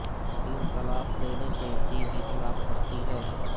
تین طلاق دینے سے تین ہی طلاق پڑتی ہیں